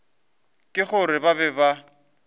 ke gore ba be ba